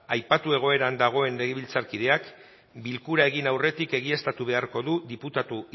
aipatu egoeran dagoen legebiltzarkideak bilkura egin aurretik egiaztatu beharko du diputatu